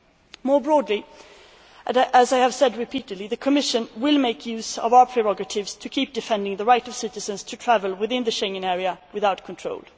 On a broader note, as I have said repeatedly, the Commission will make use of our prerogatives to keep defending the rights of citizens to travel within the Schengen area without controls.